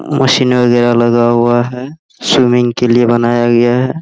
Machine वगैरा लगा हुआ है स्विमिंग के लिए बनाया गया है।